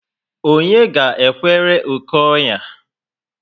Onye ga ekwere oké onya?